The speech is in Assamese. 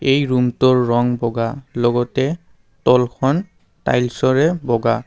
এই ৰুমটোৰ ৰং বগা লগতে তলখন টাইলচৰে বগা।